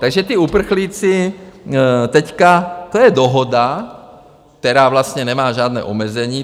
Takže ti uprchlíci teď, to je dohoda, která vlastně nemá žádné omezení.